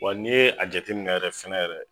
Wa n'i ye a jateminɛ fɛnɛ yɛrɛ.